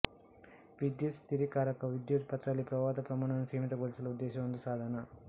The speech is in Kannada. ವಿದ್ಯುತ್ ಸ್ಥಿರೀಕಾರಕವು ವಿದ್ಯುತ್ ಪಥದಲ್ಲಿ ಪ್ರವಾಹದ ಪ್ರಮಾಣವನ್ನು ಸೀಮಿತಗೊಳಿಸಲು ಉದ್ದೇಶಿಸುವ ಒಂದು ಸಾಧನ